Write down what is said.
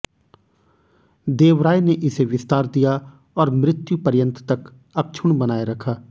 देवराय ने इसे विस्तार दिया और मृत्यु पर्यंत तक अक्षुण बनाए रखा